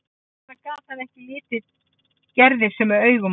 Hvers vegna gat hann ekki litið Gerði sömu augum og áður?